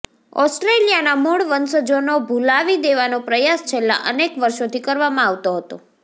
ઓસ્ટ્રેલિયાના મૂળ વંશજોનો ભૂલાવી દેવાનો પ્રયાસ છેલ્લા અનેક વર્ષોથી કરવામાં આવતો હતો